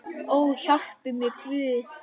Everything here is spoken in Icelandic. Ó, hjálpi mér Guð!